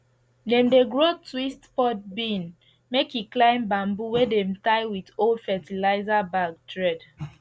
dem dey grow twist pod bean make e climb bamboo wey dem tie with old fertilizer bag thread